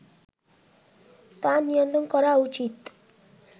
তা নিয়ন্ত্রণ করা উচিত